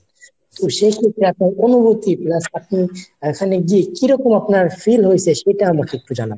তো সেক্ষেত্রে আপনার অনুভূতি plus আপনার এখানে গিয়ে কিরকম আপনার feel হইছে সেটা আমাকে একটু জানান।